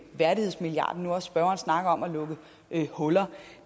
værdighedsmilliarden nu hvor spørgeren snakker om at lukke huller